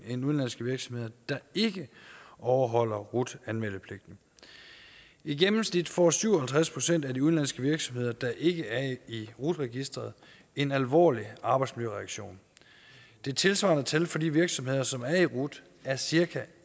end udenlandske virksomheder der ikke overholder rut anmeldepligten i gennemsnit får syv og halvtreds procent af de udenlandske virksomheder der ikke er i rut registeret en alvorlig arbejdsmiljøreaktion det tilsvarende tal for de virksomheder som er i rut er cirka